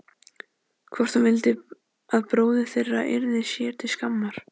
Hvort hún vildi að bróðir þeirra yrði sér til skammar?